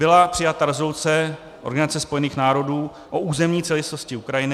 Byla přijata rezoluce Organizace spojených národů o územní celistvosti Ukrajiny.